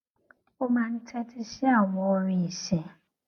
ó máa ń tétí sí àwọn orin ìsìn